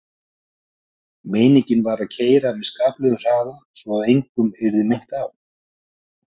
Meiningin var að keyra með skaplegum hraða svo að engum yrði meint af.